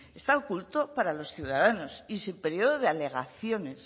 está oculto para los ciudadanos y sin periodo de alegaciones